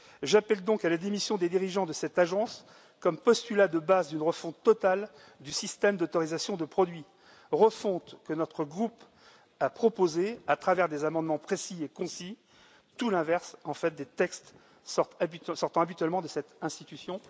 Je demande donc la démission des dirigeants de cette agence, comme postulat de base d'une refonte totale du système d'autorisation de produits, refonte que notre groupe a proposée à travers des amendements précis et concis, tout l'inverse, en fait, des textes sortant habituellement de cette institution.